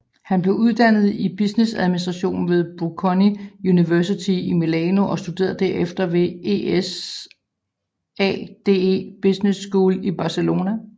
Han blev uddannet i businessadministration ved Bocconi Universitet i Milano og studerede derefter ved ESADE Business School i Barcelona